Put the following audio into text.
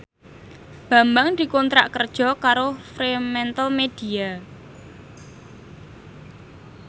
Bambang dikontrak kerja karo Fremantlemedia